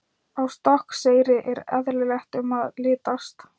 Á Stokkseyri er eyðilegt um að litast.